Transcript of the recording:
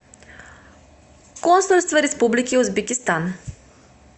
консульство республики узбекистан